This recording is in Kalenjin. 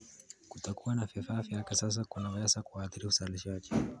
Kutokuwa na vifaa vya kisasa kunaweza kuathiri uzalishaji.